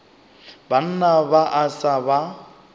banna ba a sa ba